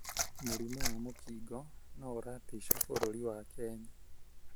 Mũrimũ wa mũkingo no ũratisha bũrũrũri wa Kenya.